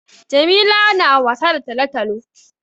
Jamila na wasa da talo-talo.